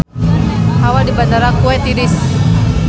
Hawa di Bandara Kuwait tiris